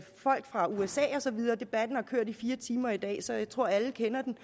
folk fra usa og så videre debatten har kørt i fire timer i dag så jeg tror alle kender den